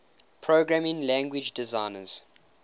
programming language designers